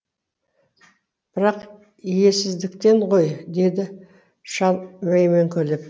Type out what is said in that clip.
бірақ иесіздіктен ғой деді шал мәймөңкілеп